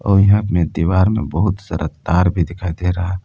और इहा दीवार में बहुत सारा तार भी दिखाई दे रहा --